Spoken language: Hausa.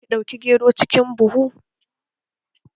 Dole ki ɗauki gero cikin buhu!